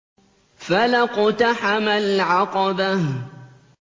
فَلَا اقْتَحَمَ الْعَقَبَةَ